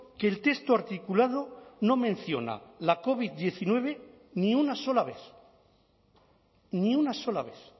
que el texto articulado no menciona la covid diecinueve ni una sola vez ni una sola vez